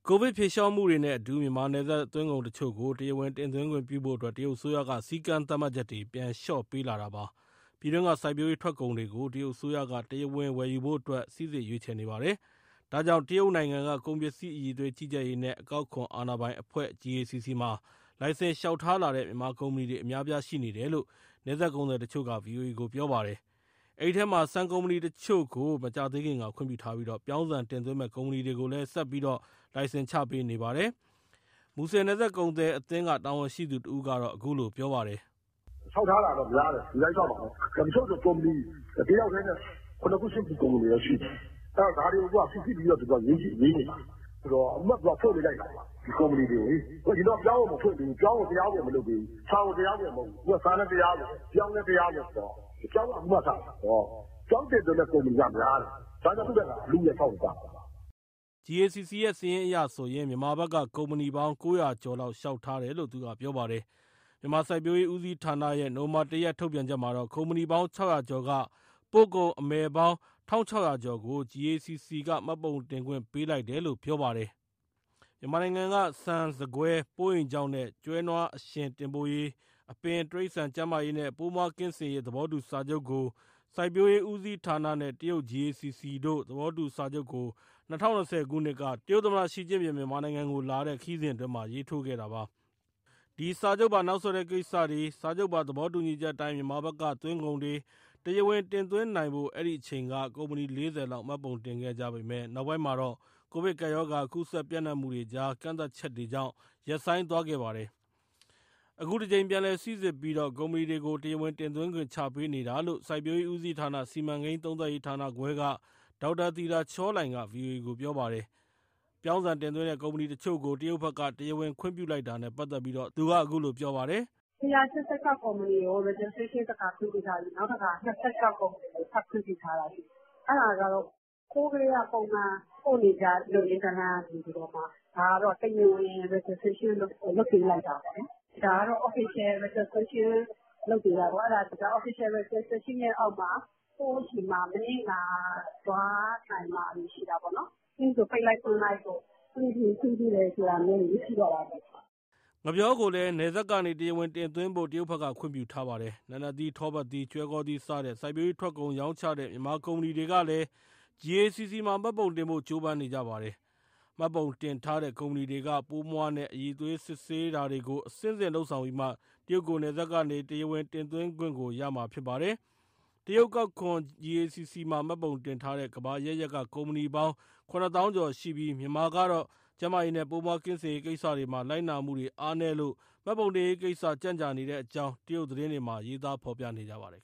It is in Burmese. ကိုဗစ်ဖြေလျှော့မှုတွေနဲ့အတူ မြန်မာ နယ်စပ်သွင်းကုန်တချို့ကို တရားဝင် တင်သွင်းခွင့်ပြုဖို့အတွက် တရုတ်အစိုးရက စည်းကမ်း သတ်မှတ်ချက်တွေ ပြန် လျော့ပေးလာတာပါ။ ပြည်တွင်းက စိုက်ပျိုးရေး ထွက်ကုန်တွေကို တရုတ်အစိုးရက တရားဝင် ဝယ်ယူဖို့အတွက် စိစစ်ရွေးချယ်နေ ပါတယ်။ ဒါကြောင့် တရုတ်နိုင်ငံ ကုန်ပစ္စည်း အရည်အသွေး ကြီးကြပ်ရေးနဲ့ အကောက်ခွန် အာဏာပိုင်အဖွဲ့ GACC မှာ လိုင်စင် လျှောက်ထားလာတဲ့ မြန်မာကုမ္ပဏီတွေ အများအပြား ရှိနေတယ်လို့ နယ်စပ်ကုန်သည်တချို့က ဗွီအိုအေကို ပြောပါတယ်။ အဲဒီအထဲမှာ ဆန်ကုမ္ပဏီတချို့ကို မကြာသေးခင်က ခွင့်ပြုထားပြီး ပြောင်းဆန် တင်သွင်းမယ့် ကုမ္ပဏီတွေကိုလည်း ဆက်ပြီး လိုင်စင် ချပေးနေပါတယ်။ မူဆယ် နယ်စပ်ကုန်သည်အသင်းက တာဝန်ရှိသူတဦးက အခုလိုပြောပါတယ်။ " လျှောက်ထားတာများတယ် လူတိုင်းလျှောက်မှာပဲ၊ တချို့ဆို ကုမ္ပဏီက တယောက်တည်းနဲ့ ၇ ခု၊ ၈ ခု ကုမ္ပဏီလည်းရှိတယ်။ ဒါတွေကို စိစစ်ပြီးတော့ သူတို့ကရွေးနေတာ။ သူက အခုမှ ဖွင့်ပေးလိုက်တာ ဒီကုမ္ပဏီတွေကိုလေ။ အရင်တုန်းက ပြောင်းကို မဖွင့်ပေးဘူး တရားဝင် မလုပ်သေးဘူး၊ ဆန်ကို တရားဝင်မဟုတ်ဘူး။ အခုက ဆန်လည်းတရားဝင်၊ ပြောင်းလည်း တရားဝင်။ ပြောင်းက အခုမှစတာ ဆိုတော့ ပြောင်းတင်သွင်းမယ့် ကုမ္ပဏီကများတယ်။ ဒါကြောင့် သူ့ထက်ငါ အလုအယက် လျှောက်နေကြတာ။" GACC ရဲ့ စာရင်းအရဆိုရင် မြန်မာဘက်က ကုမ္ပဏီပေါင်း ၉၀၀ ကျော်လောက် လျှောက်ထားတယ်လို့ သူကပြောပါတယ်။ မြန်မာစိုက်ပျိုးရေး ဦးစီးဌာနရဲ့ နိုဝင်ဘာ ၁ ရက် ထုတ်ပြန်ချက်မှာတော့ ကုမ္ပဏီပေါင်း ၆၀၀ ကျော်က ပို့ကုန် အမယ်ပေါင်း ၁,၆၀၀ ကျော်ကို GACC က မှတ်ပုံတင်ခွင့် ပေးလိုက်တယ်လို့ ပြောပါတယ်။ မြန်မာနိုင်ငံက ဆန်၊ ဆန်ကွဲ၊ ပိုးအိမ်ခြောက်နဲ့ ကျွဲနွားအရှင် တင်ပို့ရေး၊ အပင်၊ တိရစ္ဆာန်ကျန်းမာရေးနဲ့ ပိုးမွှားကင်စင်ရေး သဘောတူစာချုပ်ကို စိုက်ပျိုးရေး ဦးစီးဌာနနဲ့ တရုတ် GACC တို့ သဘောတူစာချုပ်ကို ၂၀၂၀ ခုနှစ်က က တရုတ်သမ္မတ ရှီကျင့်ပင် မြန်မာနိုင်ငံကို လာတဲ့ ခရီးစဉ်အတွင်းမှာ ရေးထိုးခဲ့တာပါ။ ဒီစာချုပ်ပါ နောက်ဆက်တွဲ ကိစ္စတွေ စာချုပ်ပါ သဘောတူညီချက်အတိုင်း မြန်မာဘက်က သွင်းကုန်တွေ တရားဝင်တင်သွင်းနိုင်ဖို့ အဲ့ဒီအချိန်က ကုမ္ပဏီ ၄၀ လောက် မှတ်ပုံတင်ခဲ့ကြပေမဲ့ နောက်ပိုင်းမှာတော့ ကိုဗစ်ကပ်ရောဂါ ကူးစက်ပျံနှံ့မှုတွေကြား ကန့်သတ်ချက်တွေကြောင့် ရပ်ဆိုင်းသွားခဲ့ပါတယ်။ အခုတကြိမ် ပြန်လည်စိစစ်ပြီး ကုမ္ပဏီတွေကို တရားဝင်တင်သွင်းခွင့်တွေ ချပေးနေတာလို့ စိုက်ပျိုးရေးဦးစီးဌာန၊ စီမံကိန်း သုံးသပ်ရေးဌာနခွဲက ဒေါက်တာသီတာချောလှိုင်က ဗွီအိုအေကို ပြောပါတယ်။ ပြောင်းဆံ တင်သွင်းတဲ့ ကုမ္ပဏီတချို့ကို တရုတ်ဘက်က တရားဝင် ခွင့်ပြုလိုက်တာနဲ့ ပတ်သက်ပြီး သူကအခုလို ပြောပါတယ်။ " ၁၈၆ ကုမ္ပဏီကို registration တခါခွင့်ပြုထားပြီး နောက်၂၆ ကုမ္ပဏီကို ထပ်ခွင့်ပြုထားတာ ဖြစ်တယ်။ အဲဒါကတော့ ဟိုးကတည်းက ပုံမှန် ပို့နေကျလုပ်ရင်း တန်းလန်းကနေပြီးမှ ဒါကတော့ တရားဝင် registration လုပ်ပေးလိုက်တာပေါ့နော်။ တရားဝင် registration ရဲ့အောက်မှာ ကိုယ့်ဆီမှာ မနစ်နာသွားနိုင်တာမျိုး ရှိတာပေါ့နော်။ နောက်ဆို ပိတ်လိုက်၊ ဖွင့်လိုက်၊ မခွင့်ပြုဘူး၊ ခွင့်ပြုတယ် ဆိုတာမျိုးတွေ မရှိတော့တာပေါ့။" ငှက်ပျောကိုလည်း နယ်စပ်ကနေ တရားဝင်တင်သွင်းဖို့ တရုတ်ဘက်က ခွင့်ပြုထားပါတယ်။ နာနတ်သီး၊ ထောပတ်သီး၊ ကျွဲကောသီး စတဲ့ စိုက်ပျိုးရေးထွက်ကုန် ရောင်းချတဲ့ မြန်မာကုမ္ပဏီတွေကလည်း GACC မှာ မှတ်ပုံတင်ဖို့ ကြိုးပမ်းနေကြပါတယ်။ မှတ်ပုံတင်ထားတဲ့ ကုမ္ပဏီတွေက ပိုးမွှားနဲ့ အရည်အသွေး စစ်ဆေးတာတွေကို အဆင့်ဆင့်လုပ်ဆောင်ပြီးမှ တရုတ်ကို နယ်စပ်ကနေ တရားဝင်တင်သွင်းခွင့်ကို ရမှာဖြစ်ပါတယ်။ တရုတ် အကောက်ခွန် GACC မှာ မှတ်ပုံတင်ထားတဲ့ ကမ္ဘာအရပ်ရပ်က ကုမ္ပဏီပေါင်း ၇ သောင်းကျော်ရှိပြီး မြန်မာကတော့ ကျန်းမာရေးနဲ့ ပိုးမွှားကင်းစင်ရေး ကိစ္စတွေမှာ လိုက်နာမှုတွေအားနည်းလို့ မှတ်ပုံတင်ရေးကိစ္စ ကြန့်ကြာနေတဲ့အကြောင်း တရုတ် သတင်းတွေမှာ ရေးသားဖော်ပြကြပါတယ်